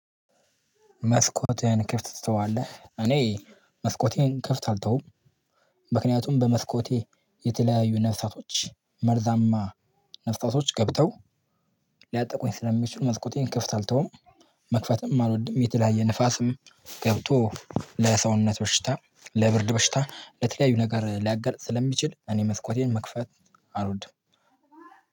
መስኮቴን ክፍት ትተዋለህ? እኔ መስኮቴን ክፍት አልተውም። ምክንያቱም በመስኮቴ የተለያዩ ነፍሳቶች መርዛማ ነፍሳቶች ገብተው ሊያጠቁኝ ስለሚችሉ መልኩቴን ክፍት አልተውም። መክፈትም አልወድም የተለያየ ንፋስም ገብቶ ለሰውነት በሽታ ለብርድ በሽታ ለተለያዩ ነገር ሊያጋልጥ ስለሚችል እኔ መስኮቴን መክፈት አልወድ።